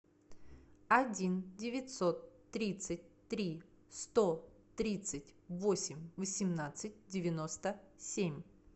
один девятьсот тридцать три сто тридцать восемь восемнадцать девяносто семь